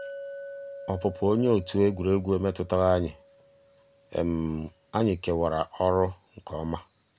ọ́pụ́pụ́ ónyé ótú égwurégwu emétùtàghị́ ànyị́; ànyị́ kèwàrà ọ́rụ́ nkè ọ́má.